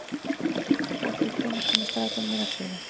Hedí, hvenær kemur strætó númer ellefu?